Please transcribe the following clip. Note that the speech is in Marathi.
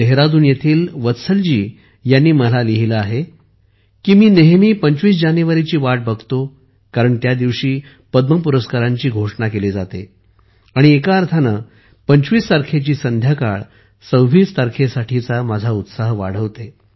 देहरादून येथील वत्सल जी यांनी मला लिहिले आहे की मी नेहमी 25 जानेवारीची वाट बघतो कारण त्या दिवशी पद्म पुरस्कारांची घोषणा केली जाते आणि एका अर्थाने 25 तारखेची संध्याकाळ 26 जानेवारीसाठीचा माझा उत्साह वाढवते